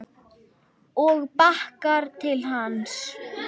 Og bakkar til hans.